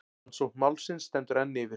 Rannsókn málsins stendur enn yfir.